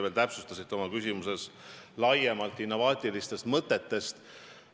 Te rääkisite oma küsimuses veel laiemalt innovaatilistest mõtetest.